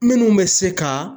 Minnu bɛ se ka.